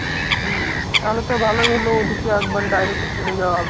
তালে তো ভালই হলো, ওদেরকে একবারে direct ফুলে যাওয়া হবে।